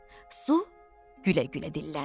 Su gülə-gülə dilləndi.